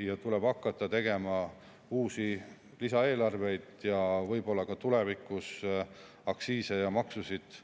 Siis tuleb hakata tegema uusi lisaeelarveid ning võib-olla tulevikus ka aktsiise ja maksusid